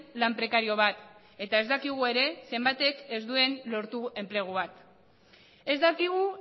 lan prekario bat eta ez dakigu ere zenbatek ez duen lortu enplegu bat ez dakigu